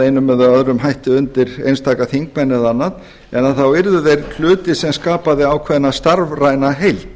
einum eða öðrum hætti undir einstaka þingmenn eða annað en þá yrðu þeir hluti sem skapaði ákveðna starfræna heild